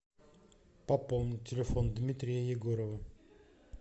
пополнить телефон дмитрия егорова